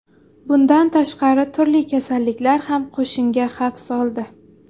Bundan tashqari, turli kasalliklar ham qo‘shinga xavf soldi.